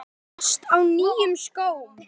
Þú varst á nýjum skóm.